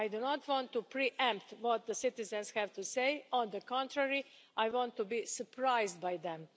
I do not want to pre-empt what the citizens have to say, on the contrary, I want to be surprised by them.